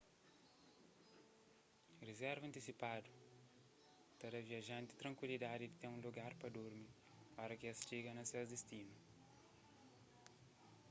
rizerva antisipadu ta da viajanti trankuilidadi di ten un lugar pa durmi óra ki es txiga na ses distinu